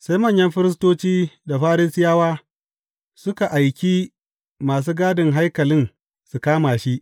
Sai manyan firistoci da Farisiyawa suka aiki masu gadin haikalin su kama shi.